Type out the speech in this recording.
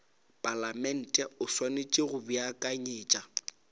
palamente o swanetše go beakanyetša